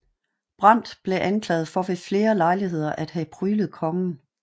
Brandt blev anklaget for ved flere lejligheder at have pryglet kongen